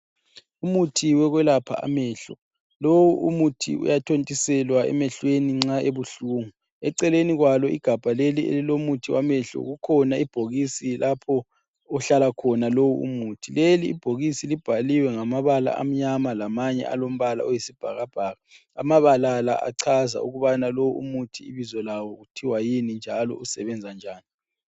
Umuthi wokwelapha amehlo lowu umuthi uyathontiselwa emehlweni nxa ebuhlungu, eceleni kwalo igabha leli elilomuthi wamehlo kukhona ibhokisi lapho okuhlala khona lowu umuthi, leli ibhokisi libhaliwe ngamabala amnyama lamanye alombala oyisibhakabhaka, amabala la achaza ukubana lo umuthi ibizo lawo kuthwa yini njalo usebenza njani.